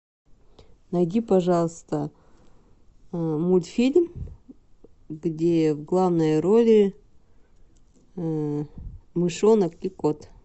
найди пожалуйста мультфильм где в главной роли мышонок и кот